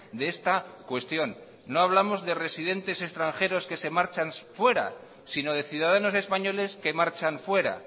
de esta cuestión no hablamos de residentes extranjeros que se marchan fuera sino de ciudadanos españoles que marchan fuera